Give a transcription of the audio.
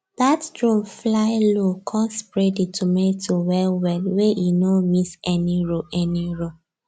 that drone fly low come spray the tomato well well wey e no miss any row any row